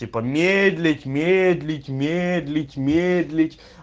типа медлить медлить медлить медлить